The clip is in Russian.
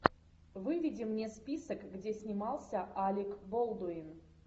выведи мне список где снимался алек болдуин